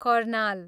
Karnal